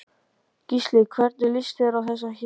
Gísli: Hvernig líst þér á þessi hér?